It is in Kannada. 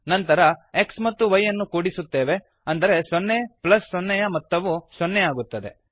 ನಂತರ x ಮತ್ತು y ಅನ್ನು ಕೂಡಿಸುತ್ತೇವೆ ಅಂದರೆ ಸೊನ್ನೆ ಪ್ಲಸ್ ಸೊನ್ನೆ ಯ ಮೊತ್ತವು ಸೊನ್ನೆಯಾಗುತ್ತದೆ